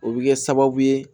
O bɛ kɛ sababu ye